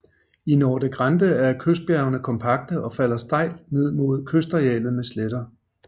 I Norte Grande er kystbjergene kompakte og falder stejlt ned mod kystarealet med sletter